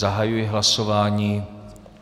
Zahajuji hlasování.